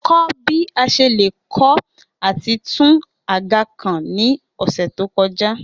Mo kọ bi a ṣe le kọ ati tun alaga kan ni ọsẹ to kọja